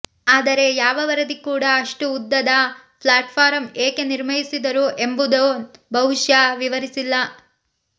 ಆದರೆ ಯಾವ ವರದಿ ಕೂಡಾ ಅಷ್ಟು ಉದ್ದದ ಪ್ಲಾಟ್ಫಾರಂ ಏಕೆ ನಿರ್ಮಿಸಿದರು ಎಂಬುದನ್ನು ಬಹುಶಃ ವಿವರಿಸಿಲ್ಲ